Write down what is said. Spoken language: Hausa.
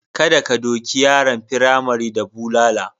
Kada ka doki yaran firamare da bulala.